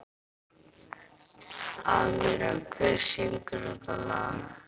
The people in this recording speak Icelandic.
Amíra, hver syngur þetta lag?